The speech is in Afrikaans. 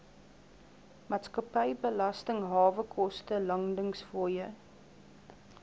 maatskappybelasting hawekoste landingsfooie